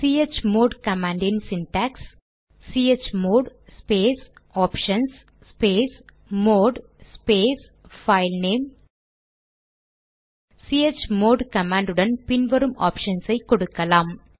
chmod command இன் syntax chmod space options space mode space filename chmod command உடன் பின் வரும் ஆப்ஷன்ஸ் ஐ கொடுக்கலாம்